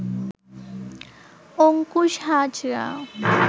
Ankush Hazra